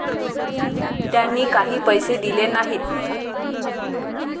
त्यांनी काही पैसे दिले नाहीत.